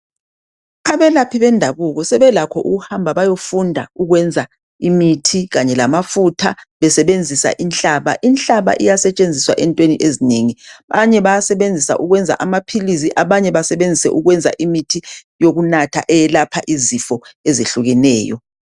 Abelaphi bendabuko sebelakho ukuhamba bayefunda ukwenza imithi kanye lamafutha besebenzisa ihlaba. Ihlaba iyasetshenziswa entweni ezinengi. Abanye bayasebenzisa ukwenza amaphilisi abanye basebenzise ukwenza imithi yokunatha eyelapha izifo ezehlukeneyo.